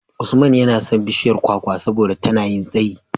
Usman yana son bishiyar kwakwa saboda tana yin tsayi.